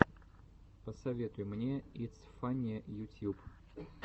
посоветуй мне итс фанне ютьюб